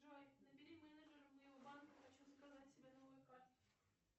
джой набери менеджеру моего банка хочу заказать себе новую карту